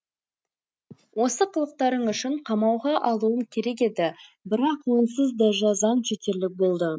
осы қылықтарың үшін қамауға алуым керек еді бірақ онсыз да жазаң жетерлік болды